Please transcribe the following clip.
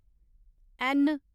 N